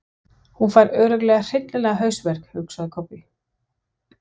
Hún fær örugglega hryllilegan hausverk, hugsaði Kobbi.